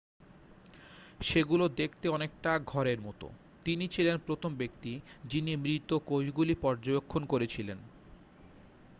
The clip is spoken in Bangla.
সেগুলো দেখতে অনেকটা ঘর এর মত তিনি ছিলেন প্রথম ব্যক্তি যিনি মৃত কোষগুলি পর্যবেক্ষণ করেছিলেন